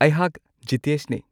ꯑꯩꯍꯥꯛ ꯖꯤꯇꯦꯁꯅꯤ꯫